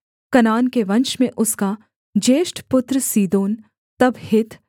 कनान के वंश में उसका ज्येष्ठ पुत्र सीदोन तब हित्त